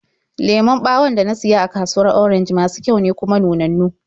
Lemon ɓawon da na siya a kasuwar Orenj masu kyau ne, kuma nunannu.